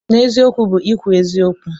N'eziokwu bụ ikwu eziokwu.